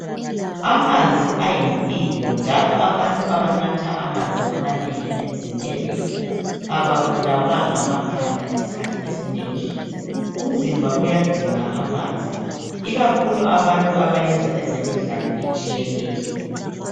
amanzi ayimpilo njalo abantu abanatha amanzi amanengi emzimbeni ababulawa ngamakhanda isikhathi esinengi umzimba uyadinga amanzi ikakhulu abantu abayenza imidlalo ehlukeneyo